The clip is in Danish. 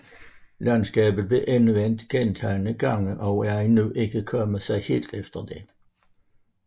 Landskabet blev endevendt gentagne gange og er endnu ikke kommet sig helt efter det